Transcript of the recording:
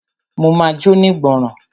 Máa jóní ìgbọràn.